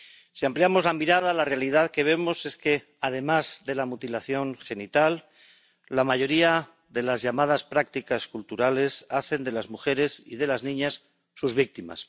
Si ampliamos la mirada a la realidad que vemos es que, además de la mutilación genital, la mayoría de las llamadas prácticas culturales hacen de las mujeres y de las niñas sus víctimas.